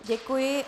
Děkuji.